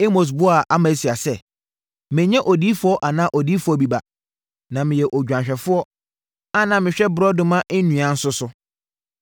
Amos buaa Amasia sɛ, “Mennyɛ odiyifoɔ anaa odiyifoɔ bi ba, na na meyɛ odwanhwɛfoɔ, a na mehwɛ borɔdɔma nnua nso so.